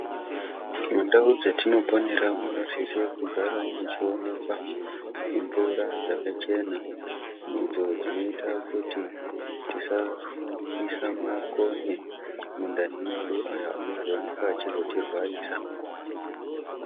Mundau dzatinoponera munosise kugara muchionekwa mvura dzakachena. Idzo dzinoita kuti tisaisa makonye mundani mwedu aya, unozooneka achizotirwarisa.